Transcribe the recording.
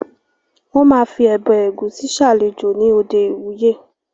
Wọ́n ma fi “ọbẹ̀ ẹ̀gúsí” salajó ní òde ìwúyè